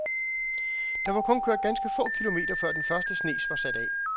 Der var kun kørt ganske få kilometer, før den første snes var sat af.